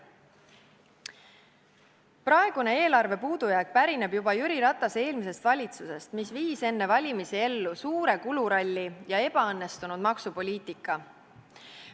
Praegune eelarvepuudujääk pärineb juba Jüri Ratase eelmisest valitsusest, mis viis enne valimisi ellu suure kuluralli ja ebaõnnestunud maksupoliitika.